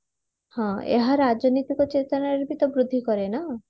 ହଁ ଏହା ରାଜନୀତିକ ଚେତନା ର ବି ତ ବୃଦ୍ଧି କରେ ନା